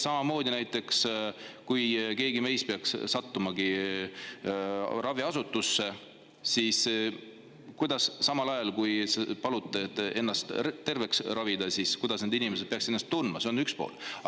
Samamoodi näiteks, kui keegi meist peaks sattuma raviasutusse ja paluma ennast terveks ravida, siis kuidas need inimesed peaksid ennast tundma?